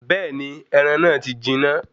Bẹ́ẹ̀ni, ẹran náà ti jiná.